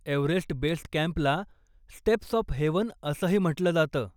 Everest base कॅम्पला steps of heaven असंही म्हटलं जातं.